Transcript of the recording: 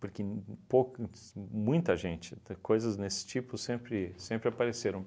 Porque uhn uhn poucas mu muita gente de, coisas nesse tipo sempre sempre apareceram.